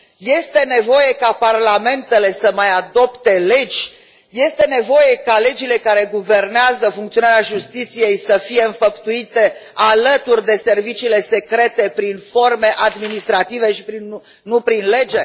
Este nevoie ca parlamentele să mai adopte legi? Este nevoie ca legile care guvernează funcționarea justiției să fie înfăptuite, alături de serviciile secrete, prin forme administrative și prin nu prin lege?